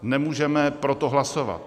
Nemůžeme pro to hlasovat.